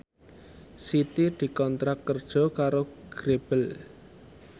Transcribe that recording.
Siti dikontrak kerja karo Grebel